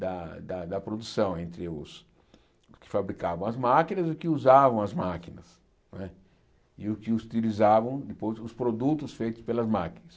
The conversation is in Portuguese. da da da produção entre os que fabricavam as máquinas e os que usavam as máquinas, não é e os que utilizavam depois os produtos feitos pelas máquinas.